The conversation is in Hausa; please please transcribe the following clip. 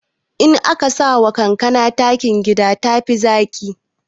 In aka sakawa kankana takin gida tafi zaƙi